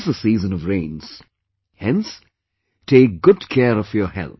It is the seasons of rains, hence, take good care of your health